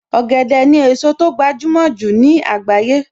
Ọ̀gẹ̀dẹ̀ ni èso tó gbajúmọ̀ jù ní àgbáyé